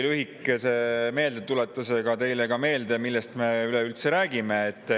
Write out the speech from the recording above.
Ma siis tuletan teile ka lühidalt meelde, millest me üleüldse räägime.